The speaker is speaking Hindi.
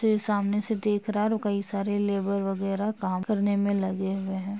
सामने से देख रहा है और कई सारे लेबर वगैरा काम करने मे लगे हुए हैं।